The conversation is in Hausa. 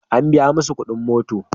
An biya masa kuɗin mota.